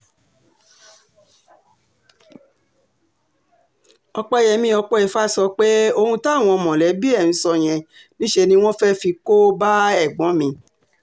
ọ̀pẹyẹmi ọpẹifa sọ pé ohun táwọn mọ̀lẹ́bí ẹ̀ ń sọ yẹn níṣẹ́ ni wọ́n fẹ́ẹ́ fi kó bá ẹ̀gbọ́n mi